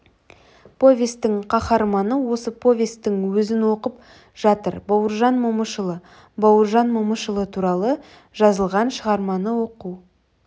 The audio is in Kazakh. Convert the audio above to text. повестің қаһарманы осы повестің өзін оқып жатыр бауыржан момышұлы бауыржан момышұлы туралы жазылған шығарманы оқу